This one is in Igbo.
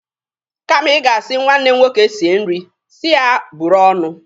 Kama ị ga-asi nwanne m nwoke sie nri, si ya buru ọnụ.